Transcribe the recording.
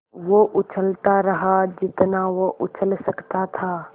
वो उछलता रहा जितना वो उछल सकता था